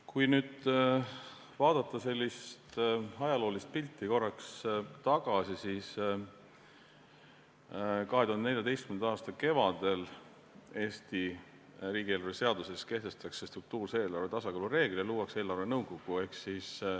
Kui vaadata korraks sellist ajaloolist pilti, vaadata korraks tagasi, siis 2014. aasta kevadel Eesti riigieelarve seaduses kehtestati struktuurse eelarve tasakaalu reegel ja loodi eelarvenõukogu.